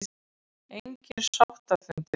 Engir sáttafundir boðaðir